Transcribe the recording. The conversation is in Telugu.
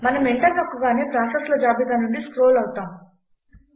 మనం ఎంటర్ నొక్కగానే ప్రాసెస్ల జాబితా నుండి స్క్రోల్ అవుతాము